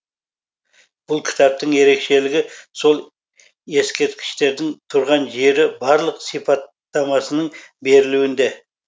бұл кітаптың ерекшелігі сол ескерткіштердің тұрған жері барлық сипаттамасының берілуінде